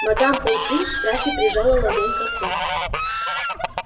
мадам помфри в страхе прижала ладонь ко рту